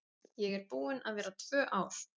Ég er búin að vera tvö ár.